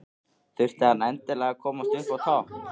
Þurfti hann endilega að komast upp á topp?